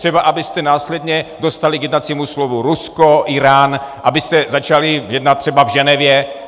Třeba abyste následně dostali k jednacímu stolu Rusko, Írán, abyste začali jednat třeba v Ženevě.